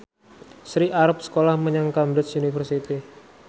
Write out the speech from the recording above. Sri arep sekolah menyang Cambridge University